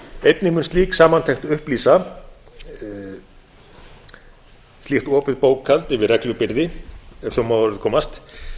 einnig mun slík samantekt upplýsa slíkt opið bókhald yfir reglubyrði ef svo má að orði komast